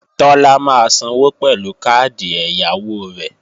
Tọ́lá máa sanwó pẹ̀lú káàdì ẹ̀yáwó rẹ̀